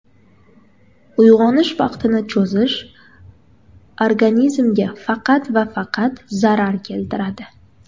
Uyg‘onish vaqtini cho‘zish organizmga faqat va faqat zarar keltiradi.